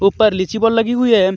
ऊपर लीची बोल लगी हुई है.